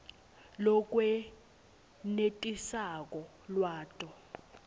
lokwenetisako lwati